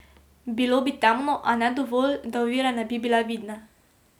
Bilo bi temno, a ne dovolj, da ovire ne bi bile vidne.